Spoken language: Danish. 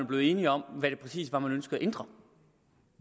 blevet enige om hvad det præcis var man ønskede at ændre